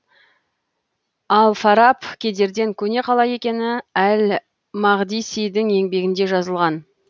ал фараб кедерден көне қала екені әл мақдисидің еңбегінде жазылған